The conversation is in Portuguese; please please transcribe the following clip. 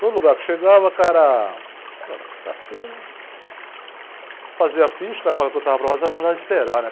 Todo lugar que chegava, o cara... Pô, mas a carteira... Fazia ficha, o cara falava que eu estava aprovado, mas eu mandava esperar, né?